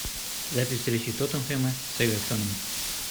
запись встречи тоттенхэма с эвертоном